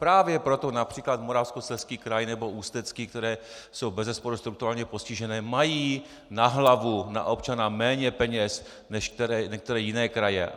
Právě proto například Moravskoslezský kraj nebo Ústecký, které jsou bezesporu strukturálně postižené, mají na hlavu, na občana méně peněz než některé jiné kraje.